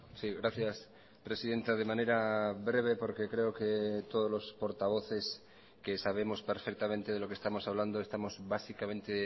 sí gracias presidenta de manera breve porque creo que todos los portavoces que sabemos perfectamente de lo que estamos hablando estamos básicamente